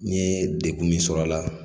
N ye degun min sɔrɔ a la.